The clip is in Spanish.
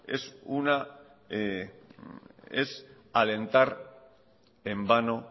es alentar en vano